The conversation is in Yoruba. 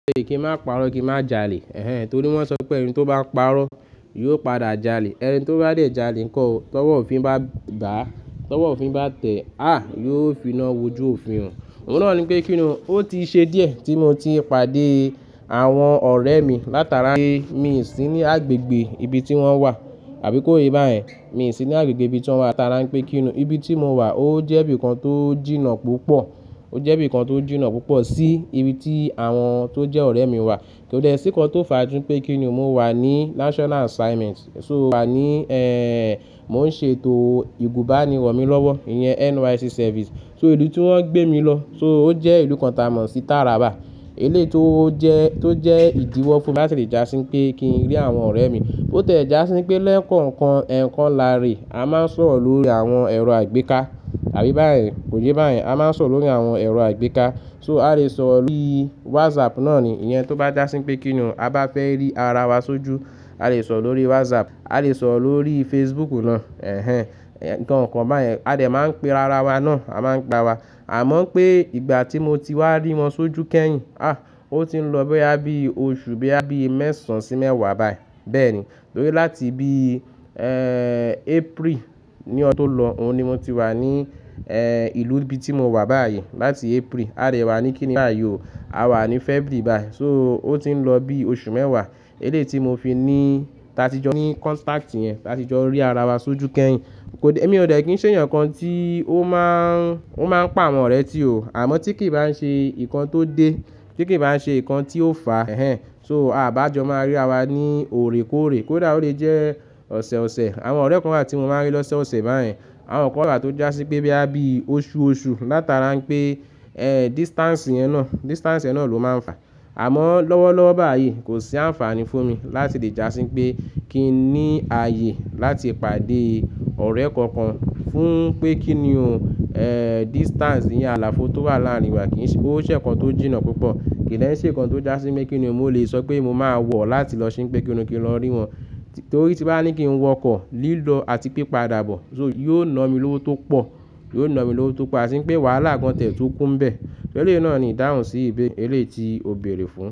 Kí n má parọ́, kí n má jalè. Ehen, torí wọ́n sọ pé ẹni tó bá parọ́ yóò padà jalè. Ẹni tó bá dé jalè nko o, tọ́wọ́ òfin bá bàá, tọ́wọ́ òfin bá tẹ́, á yóò finá wójú òfin. Òun náà ni pé kíni o, ó ti ṣe díẹ̀ tí mo ti pàdé àwọn ọ̀rẹ́ mi látara pé mi ò sí ní agbègbè ibi tí wọ́n wà. Àbí kó ye bayen, mi ò sí ní agbègbè ibi tí wọ́n wà látara pé kíni o, ibi tí mo wà ó jẹ́ ibi kan tó jìnnà púpọ̀. Ó jẹ́ ibi kan tó jìnnà púpọ̀ sí ibi tí àwọn tó jẹ́ ọ̀rẹ́ mi wà. Kò dé sí nnkàn tó fàá ju pé kíni o, mo wà ní national assignment. So wà ní, ẹ́ẹ́n, mo ń ṣètò ìgúbánirọ̀ mi lọ́wọ́, ìyẹn NYSC service. So ìlú tí wọ́n gbé mi lọ, so ó jẹ́ ìlú kan tà mọ́ sí Taraba. Eléyìí tó jẹ́, tó jẹ́ ìdíwọ́ fún mi láti lè já sí pé kí n rí àwọn ọ̀rẹ́ mi. Ó tẹ̀ já sí pé lẹ́kọ̀ọ̀kan ẹ́ẹ̀kọ́ láre, a máa ń sọ̀rọ̀ lórí àwọn ẹ̀rọ àìgbéka. Àbí bá ẹ́, kò yé bá yẹ́n, a máa ń sọ̀rọ̀ lórí àwọn ẹ̀rọ àìgbéka. So a lè sọ̀rọ̀ lórí WhatsApp náà ni. Ìyẹn tó bá já sí pé kíni o, a bá fẹ́ rí ara wa sójú, a lè sọ̀rọ̀ lórí WhatsApp, a lè sọ̀rọ̀ lórí Facebook náà. Ehen, ǹnkan kan bá yẹ́n, a dè máa ń pe ara wa náà, a máa ń gbà wa. Àmọ́ pé ìgbà tí mo ti wá rí wọn sójú kẹ́yìn, á, ó ti ń lọ boya bí oṣù, boya bí mẹ́sàn sí mẹ́wàá báyìí. Bẹ́ẹ̀ ni. Torí láti bí, April ní ọdún tó lọ, òhun ni mo ti wà ní, ìlú ibi tí mo wà báyìí. Láti April, a de wà ní kíni báyìí o, a wà ní February báyìí. So ó ti ń lọ bí oṣù mẹ́wàá. Eléyìí tí mo fi ní, tàtí jọ ní contact yẹn, tàtí jọ rí ara wa sójú kẹ́yìn. Ko dé, èmi ò dẹ́ kí n ṣe eeyan kan tí ó máa ń, ó máa ń pa àwọn ọ̀rẹ́ tirẹ̀ o. Àmọ́ tí kì í bá ń ṣe nǹkan tó dé, tí kì í bá ń ṣe nǹkan tí ó fàá, ehen. So a bá jọ máa rí ara wa ní òrèkóòrè. Kódà ó lẹ̀ jẹ́ ọ̀sọ̀ọ̀sẹ̀, àwọn ọ̀rẹ́ kan wà tí mo máa ń rí lọ́soọ̀sẹ̀ báyen. Àwọn kan wà tó já sí pé bí a bí oṣu oṣu látara pé, distance yẹn náà, distance yẹn náà ló máa ń fàá. Àmọ́ lọ́wọ́lọ́wọ́ báyìí kò sí àǹfààní fún mi láti lè já sí pé kí n ní ayé láti pàdé ọ̀rẹ́ kankan fún pé kíni o, distance yẹn àlàfo tó wà láàrin wa kì í ṣe, ó ṣẹ̀ kan tó jìnnà púpọ̀. Kì í dẹ́ n ṣẹ̀ nnkan tó já sí pé kíni o, mo lè sọ pé mo máa wọ̀ láti lọ sí pé kíni o kí n lọ rí wọn. Torí tí n bá ní kí n wọkọ̀, lílọ àti pipadà bọ̀. So yóò na mi lọ́wọ́ tó pọ̀, yóò na mi lọ́wọ́ tó pọ̀. Ati wipé wàhálà gan tie tun kú ń bẹ̀. Eléyìí náà ni ìdáhùn sí ìbéere, eléyìí tí ó bẹ̀erẹ̀ fún.